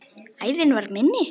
Æðin var minni.